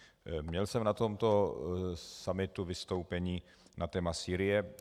Měl jsem na tomto summitu vystoupení na téma Sýrie.